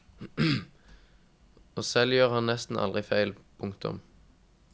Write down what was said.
Og selv gjør han nesten aldri feil. punktum